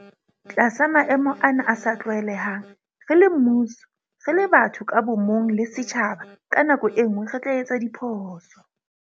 Tlasa maemo ana a sa tlwaelehang, re le mmuso, re le batho ka bo mong le setjhaba ka nako e nngwe re tla etsa diphoso.